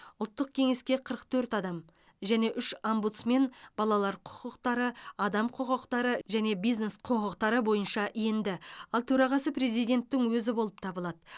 ұлттық кеңеске қырық төрт адам және үш омбудсмен балалар құқықтары адам құқықтары және бизнес құқықтары бойынша енді ал төрағасы президенттің өзі болып табылады